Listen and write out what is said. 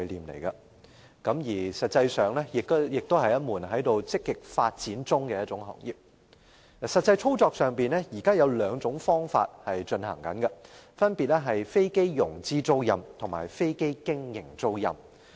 事實上，這也是一門在積極發展中的行業。在實際操作上，現時的營運方式有兩種，分別為飛機融資租賃及飛機經營租賃。